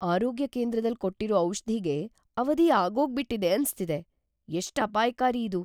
ಆರೋಗ್ಯ ಕೇಂದ್ರದಲ್ ಕೊಟ್ಟಿರೋ ಔಷ್ಧಿಗೆ ಅವಧಿ ಆಗೋಗ್ಬಿಟಿದೆ ಅನ್ಸ್ತಿದೆ, ಎಷ್ಟ್‌ ಅಪಾಯ್ಕಾರಿ ಇದು!